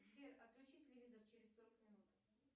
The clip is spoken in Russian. сбер отключи телевизор через сорок минут